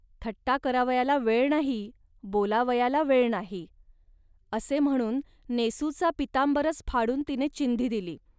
थट्टा करावयाला वेळ नाही, बोलावयाला वेळ नाही. असे म्हणून नेसूचा पीतांबरच फाडून तिने चिंधी दिली